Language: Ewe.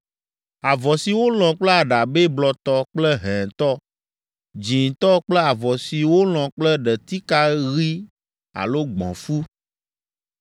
avɔ si wolɔ̃ kple aɖabɛ blɔtɔ kple hɛ̃tɔ, dzĩtɔ kple avɔ si wolɔ̃ kple ɖetika ɣi alo gbɔ̃fu,